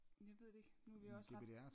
Jeg ved det ikke nu er vi også ret